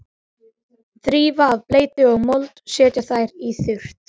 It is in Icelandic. Þrífa af bleytu og mold og setja þær í þurrt.